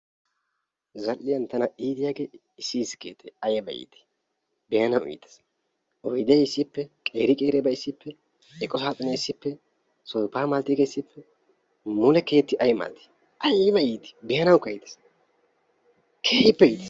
Zal'iyan tana iitiyaagee issi issi keettay ayba itti, beanawu ittees, oyde issippe, qeeri qeeribay issippe, eqo saaxxinee issippe sooppa malatiyaagee issippe mule keeti ayba itti beanawukka iitees, keehippe ittees.